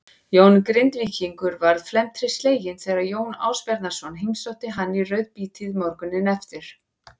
Jón Grindvíkingur varð felmtri sleginn þegar Jón Ásbjarnarson heimsótti hann í rauðabítið morguninn eftir.